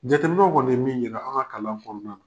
Jateminɛw kɔni ye min yira an ka kalan kɔnɔna